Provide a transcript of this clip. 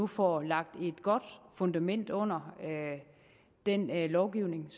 får lagt et godt fundament under den lovgivning